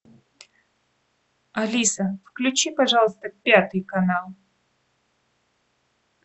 алиса включи пожалуйста пятый канал